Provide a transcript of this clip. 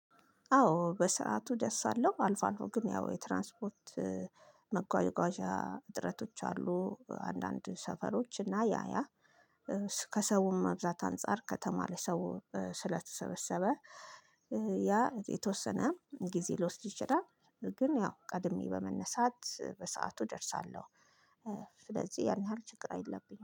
አዎ በሰአቱ አደርሳልሁ አልፎ አልፎ ግን ያው የትራንስፖርት መጓጓዣ እጥረቶች አሉ። አንዳንድ ሰፈሮች እና ያያ ከሰውም መብዛት አንፃር ከተማ ለሰው ስለተሰበሰበ ያ የተወሰነ ጊዜ ሊወስድ ይችላል። ግን ያው ቀድሜ በመነሳት በሰአቱ እደርሳለሁ። ስለዚህ ያን ያህል ችግር አይለብኝም